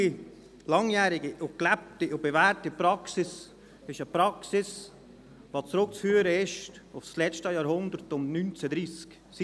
Die langjährige, gelebte und bewährte Praxis ist eine Praxis, die auf das letzte Jahrhundert um 1930 zurückzuführen ist.